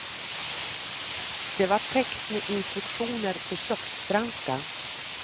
Det var täckt med instruktioner på köksfranska.